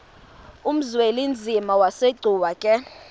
uzwelinzima asegcuwa ke